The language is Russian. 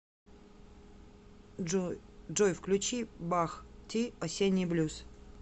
джой включи бах ти осенний блюз